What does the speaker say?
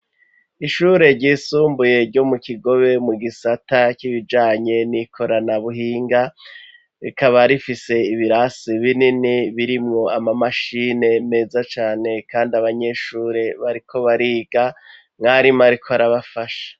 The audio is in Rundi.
Ishure ryisumbuye, ryo mu kigobe, mu gisata c'ibijanye, n'ikoranabuhinga, rikaba rifise ibirasi binini, birimwo amamashine, meza cane; kandi abanyeshure, bariko bariga, mwarimu ariko arabafasha.